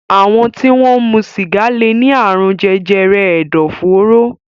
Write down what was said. Àwọn tí wọ́n ń mu sìgá lè ní àrùn jẹjẹrẹ ẹ̀dọ̀fóró.